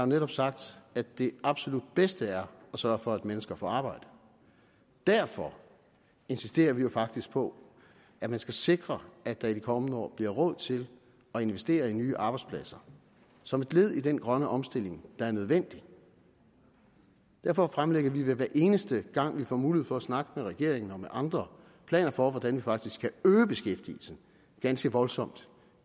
netop sagt at det absolut bedste er at sørge for at mennesker får arbejde derfor insisterer vi jo faktisk på at man skal sikre at der i de kommende år bliver råd til at investere i nye arbejdspladser som et led i den grønne omstilling der er nødvendig derfor fremlægger vi hver eneste gang vi får mulighed for at snakke med regeringen og med andre planer for hvordan man faktisk kan øge beskæftigelsen ganske voldsomt